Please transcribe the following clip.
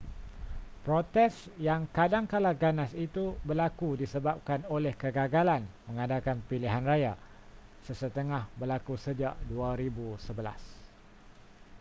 protes yang kadangkala ganas itu berlaku disebabkan oleh kegagalan mengadakan pilihan raya sesetengah berlaku sejak 2011